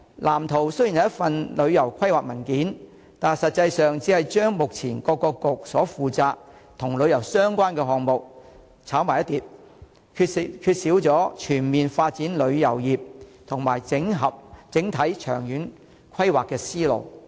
藍圖雖然是一份旅遊規劃文件，但實際上只是把目前由各政策局所負責與旅遊相關的項目"炒埋一碟"，缺少全面發展旅遊業和整體長遠規劃的思路。